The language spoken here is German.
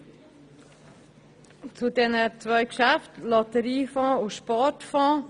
Ich habe eine Bemerkung zu den zwei Geschäften Lotteriefonds und Sportfonds.